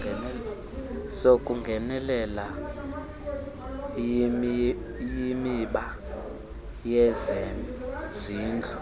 sokungenelela yimiba yezezindlu